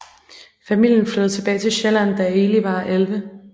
Familien flyttede tilbage til Sjælland da Eli var 11